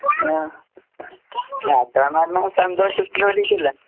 ആഹ്. യാത്രാന്ന് പറഞ്ഞാ സന്തോഷത്തിന് വേണ്ടീട്ടല്ലേ.